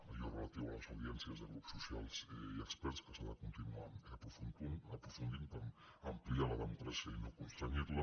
allò relatiu a les audiències de grups socials i experts que s’ha ha de continuar aprofundint per ampliar la democràcia i no constrènyerla